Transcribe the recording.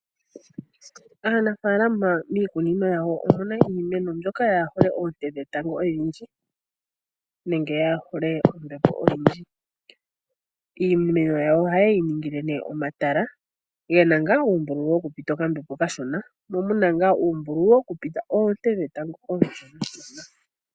Aanafalama mikunino yawo omuna iimeno mbyoka yahole oonte dhetango odhindji nenge yahole ombepo oyindji, iimeno yayo oha yeyiningile ne omatala gena nga umbululu wokupita okambepo okashona mo muna nga umbululu wokupita oonte dhetango oshona.